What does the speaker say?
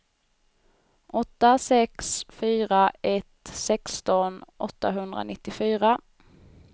åtta sex fyra ett sexton åttahundranittiofyra